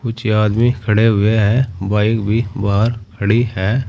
कुछ आदमी खड़े हुए हैं बाइक भी बाहर खड़ी है।